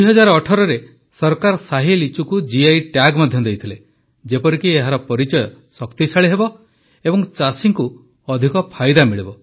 2018ରେ ସରକାର ଶାହି ଲିଚୁକୁ ଜିଆଇ ଟ୍ୟାଗ୍ ମଧ୍ୟ ଦେଇଥଲେ ଯେପରିକି ଏହାର ପରିଚୟ ଶକ୍ତିଶାଳୀ ହେବ ଏବଂ ଚାଷୀଙ୍କୁ ଅଧିକ ଫାଇଦା ମିଳିବ